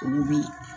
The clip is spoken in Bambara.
Olu bi